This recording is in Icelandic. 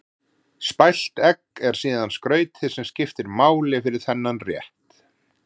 Spælt egg er síðan skrautið sem skiptir máli fyrir þennan rétt.